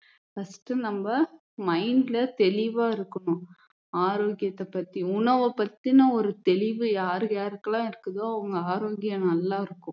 first நம்ம mind ல தெளிவா இருக்கணும் ஆரோக்கியத்தை பத்தி உணவ பத்தின ஒரு தெளிவு யார் யாருக்கெல்லாம் இருக்குதோ அவங்க ஆரோக்கியம் நல்லா இருக்கும்